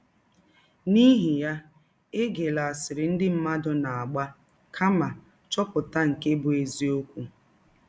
N’ihi ya, egela asịrị ndị mmadụ na - agba, kama chọpụta nke bụ́ eziọkwụ.